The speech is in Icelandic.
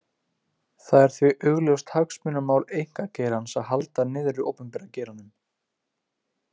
Það er því augljóst hagsmunamál einkageirans að halda niðri opinbera geiranum.